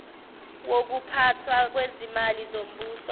wokuphathwa kwezimali zombuso